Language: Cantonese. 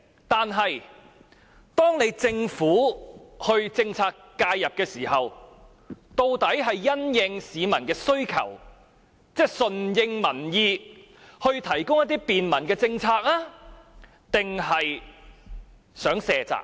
但是，政府作出政策介入時，究竟是順應民意而提供便民政策，還是想卸責呢？